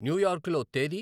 new యార్క్లో తేదీ